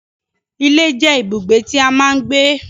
Ilé jẹ́ ibùgbé tí a máa ń gbé